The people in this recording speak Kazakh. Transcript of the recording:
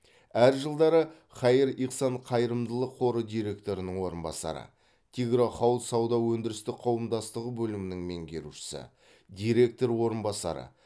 әр жылдары хаир ихсан қайырымдылық қоры директорының орынбасары тигро хауд сауда өндірістік қауымдастығы бөлімінің меңгерушісі директор орынбасары